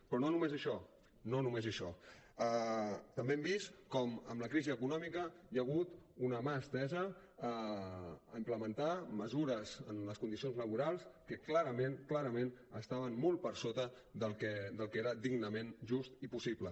però no només això no només això també hem vist com amb la crisi econòmica hi ha hagut una mà estesa a implementar mesures en les condicions laborals que clarament clarament estaven molt per sota del que era dignament just i possible